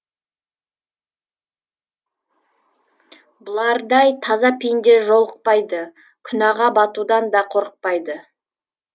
бұлардай таза пенде жолықпайды күнәға батудан да қорықпайды